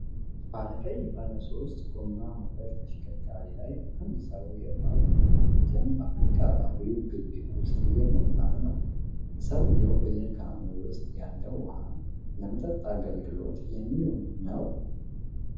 ባለቀይ ባለሦስት ጎማ ሞተር ተሽከርካሪ ላይ አንድ ሰው የውሃ ጀሪካኖችን በአካባቢው ግቢ ውስጥ እየሞላ ነው። ሰውዬው በጀሪካኖቹ ውስጥ ያለው ውሃ ለመጠጥ አገልግሎት የሚውል ነውን?